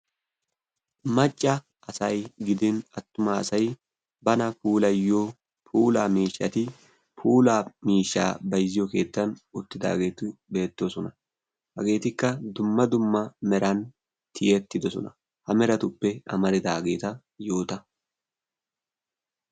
macca asay gidin attuma asai bana kuulayyo pula miishshati pula miishshaa baizziyo keettan uttidaageetu beettoosona. hageetikka dumma dumma meran tiyettidosona. ha meratuppe amaridaageeta yoota.